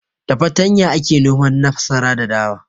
Da fatarya ake noman masara da dawa.